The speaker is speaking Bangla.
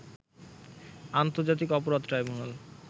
আন্তর্জাতিক অপরাধ ট্রাইব্যুনাল